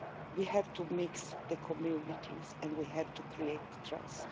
We have to mix the communities and we have to create trust.